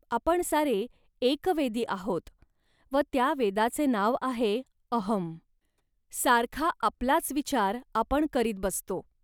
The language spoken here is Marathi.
आपण सारे एकवेदी आहोत व त्या वेदाचे नाव आहे 'अहं. सारखा आपलाच विचार आपण करीत बसतो